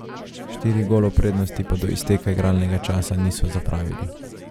Štirih golov prednosti pa do izteka igralnega časa niso zapravili.